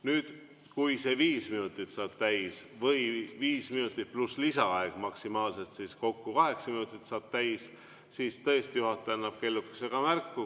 Nüüd, kui see viis minutit saab täis või viis minutit pluss lisaaeg, maksimaalselt kokku kaheksa minutit, saab täis, siis tõesti juhataja annab kellukesega märku.